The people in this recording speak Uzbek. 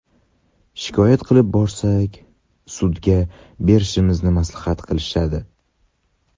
Shikoyat qilib borsak, sudga berishimizni maslahat qilishadi.